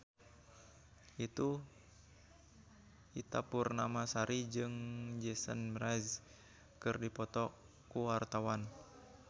Ita Purnamasari jeung Jason Mraz keur dipoto ku wartawan